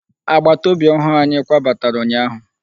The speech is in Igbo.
Agbataobi ọhụụ anyị kwabatara ụnyaahụ.